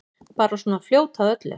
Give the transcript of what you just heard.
Bara svona fljót að öllu.